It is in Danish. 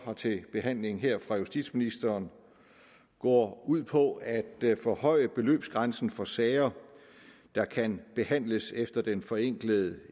har til behandling her fra justitsministeren går ud på at forhøje beløbsgrænsen for sager der kan behandles efter den forenklede